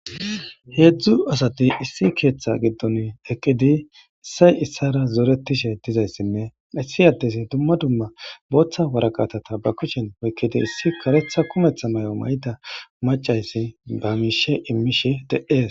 Heedzdzu asati issi keeththa giddon eqqidi issay issara zooretishe dizayssinne issi addesi dumma dumma booththa waraqatata ba kuchen woykkidi issi karetha kumetha may7o may7ta macayssi ba miishe immishe deees.